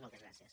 moltes gràcies